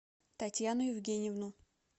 татьяну евгеньевну